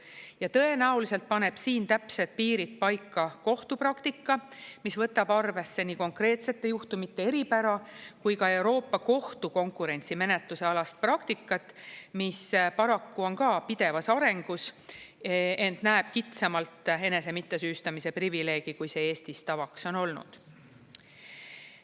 Ja tõenäoliselt paneb siin täpsed piirid paika kohtupraktika, mis võtab arvesse nii konkreetsete juhtumite eripära kui ka Euroopa Kohtu konkurentsimenetluse alast praktikat, mis paraku on ka pidevas arengus, ent näeb kitsamalt enese mittesüüstamise privileegi, kui see Eestis tavaks on olnud.